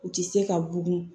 U ti se ka bugun